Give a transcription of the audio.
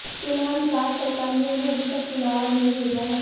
फिलहाल राज्य सरकार ने उन्हें अभी तक बुलावा नहीं भेजा है